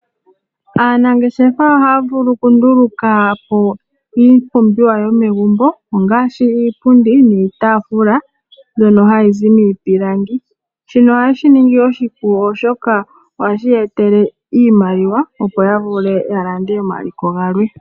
Aanangeshefa ohaya vulu oku ndulukapo iipumbiwa yomegumbo ongaashi iipundi niitafula mbyono hayi zi miipilangi. Shino oha yeshi ningi oshipu ,oshoka ohashi ye tele iimaliwa opo ya vule ya lande omaliko galwe.